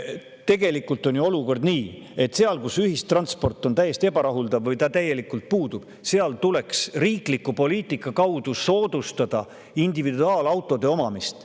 Tegelikult on ju olukord selline, et seal, kus ühistransport on ebarahuldav või puudub täielikult, tuleks riikliku poliitika kaudu soodustada individuaalautode omamist.